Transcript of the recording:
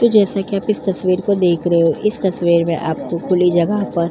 तो जैसा कि आप इस तस्वीर को देख रहे हो इस तस्वीर में आपको खुली जगह पर --